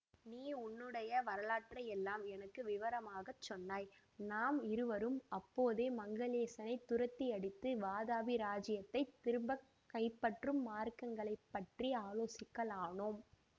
நீ உன்னுடைய வரலாற்றையெல்லாம் எனக்கு விவரமாக சொன்னாய் நாம் இருவரும் அப்போதே மங்களேசனைத் துரத்தியடித்து வாதாபி இராஜ்யத்தை திரும்பக் கைப்பற்றும் மார்க்கங்களைப்பற்றி ஆலோசிக்கலானோம்